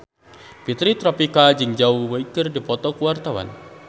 Fitri Tropika jeung Zhao Wei keur dipoto ku wartawan